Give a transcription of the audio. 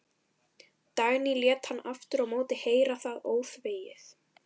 Dagný lét hann aftur á móti heyra það óþvegið.